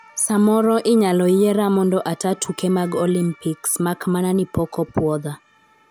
Samoro inyaloyiera mondo ata tuke mag olympics makmana ni pok puodha